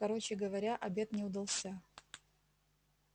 короче говоря обед не удался